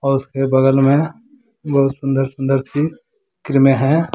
उसके बगल में बहुत सुंदर सुंदर सी क्रीमें हैं।